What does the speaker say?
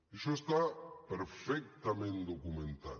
això està perfectament documentat